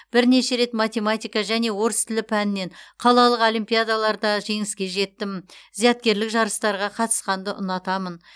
бірнеше рет математика және орыс тілі пәнінен қалалық олимпиадаларда жеңіске жеттім зияткерлік жарыстарға қатысқанды ұнатамын